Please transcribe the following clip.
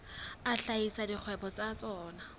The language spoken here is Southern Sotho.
a hlahisa dikgwebo tsa tsona